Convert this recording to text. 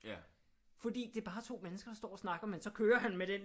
Fordi det er bare to mennesker der står og snakker men så kører han med den